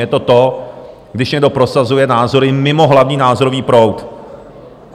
Je to to, když někdo prosazuje názory mimo hlavní názorový proud.